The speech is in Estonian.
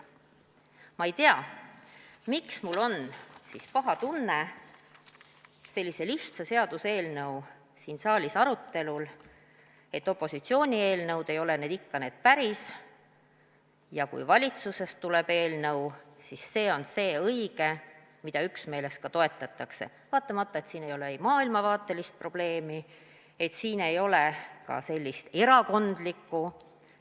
" Ma ei tea, miks mul on siis paha tunne sellise lihtsa seaduseelnõu arutelul siin saalis: opositsiooni eelnõud ei ole ikka need päris ja kui valitsusest tuleb eelnõu, siis see on see õige, mida üksmeeles ka toetatakse, vaatamata sellele, et siin ei ole maailmavaatelist probleemi ega ka erakondlikku.